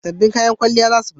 Sabon kayan kwalliya za su fito